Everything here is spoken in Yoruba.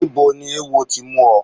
Ibo ni ewo ti mú ọ?